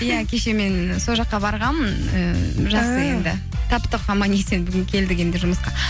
иә кеше мен сол жаққа барғанмын ііі таптық аман есен бүгін келдік енді жұмысқа